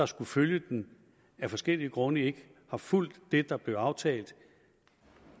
skulle følge den af forskellige grunde ikke har fulgt det der blev aftalt